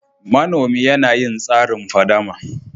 Manomi yana yin tsarin fadama.